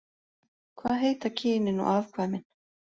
Hvað heita kynin og afkvæmin?